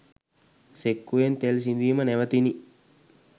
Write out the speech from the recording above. සෙක්කුවෙන් තෙල් සිදීම නැවතිණි.